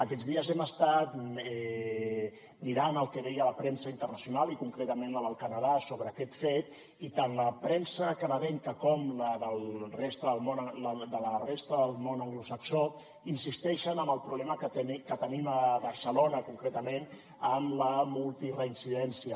aquests dies hem estat mirant el que deia la premsa internacional i concretament la del canadà sobre aquest fet i tant la premsa canadenca com la de la resta del món anglosaxó insisteixen en el problema que tenim a barcelona concretament amb la multireincidència